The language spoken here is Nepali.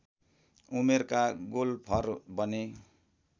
उमेरका गोल्फर बने